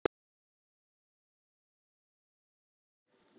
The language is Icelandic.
Ítalski boltinn á stað í hjarta margra íslenskra fótboltaáhugamanna.